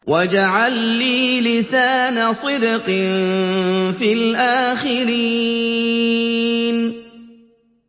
وَاجْعَل لِّي لِسَانَ صِدْقٍ فِي الْآخِرِينَ